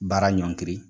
Baara ɲɔngiri